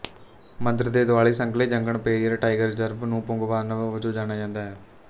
ਮੰਦਰ ਦੇ ਦੁਆਲੇ ਸੰਘਣੇ ਜੰਗਲ ਪੇਰੀਅਰ ਟਾਈਗਰ ਰਿਜ਼ਰਵ ਨੂੰ ਪੂੰਗਵਾਨਮ ਵਜੋਂ ਜਾਣਿਆ ਜਾਂਦਾ ਹੈ